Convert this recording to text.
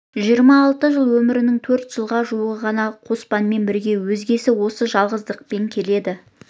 жиырма алты жыл өмірінің төрт жылға жуығы ғана қоспанмен бірге өзгесі осы жалғыздықпен келеді